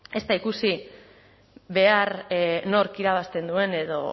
ez da ikusi behar nork irabazten duen edo